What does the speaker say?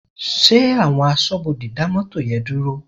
Ṣé àwọn aṣọ́bodè dá mọ́tò yẹn dúró?